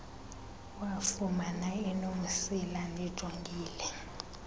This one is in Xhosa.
wafumana enomsila ndijongile